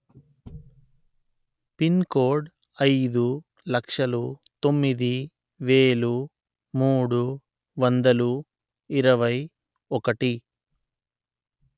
pin code అయిదు లక్షలు తొమ్మిది వెలు మూడు వందలు ఇరవై ఒకటి